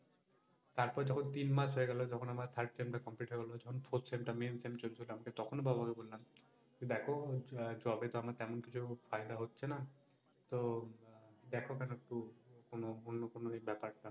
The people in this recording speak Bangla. তারপর যখন তিন মাস হয়ে গেলো যখন আমার third semester complete হয়ে গেলো fourth semestermain semester চলছিলো আমি তো তখনও বাবা কে বললাম দেখো job এ তো আমার তেমন কিছু ফায়দা হচ্ছে না, তো উম দেখো না একটু অন্য, কোনো ব্যাপার টা।